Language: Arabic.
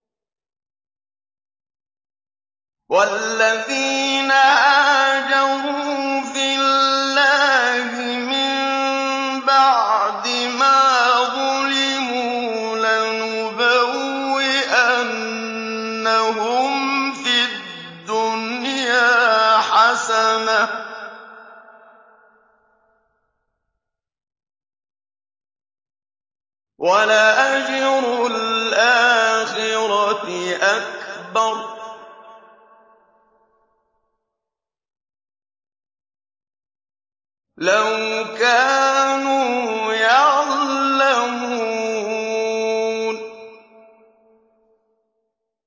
وَالَّذِينَ هَاجَرُوا فِي اللَّهِ مِن بَعْدِ مَا ظُلِمُوا لَنُبَوِّئَنَّهُمْ فِي الدُّنْيَا حَسَنَةً ۖ وَلَأَجْرُ الْآخِرَةِ أَكْبَرُ ۚ لَوْ كَانُوا يَعْلَمُونَ